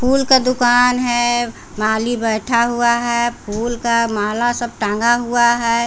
फूल के दुकान है माली बैठा हुआ है फूल का माला सब टांगा हुआ है।